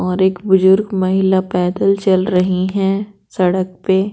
और एक बुजुर्ग महिला पैदल चल रही है सड़क पे।